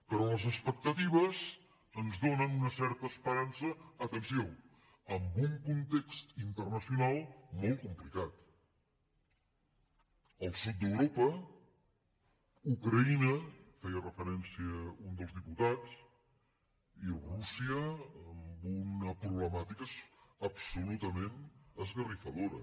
però les expectatives ens donen una certa esperança aten·ció en un context internacional molt complicat el sud d’europa ucraïna hi feia referència un dels di·putats i rússia amb una problemàtica absolutament esgarrifadora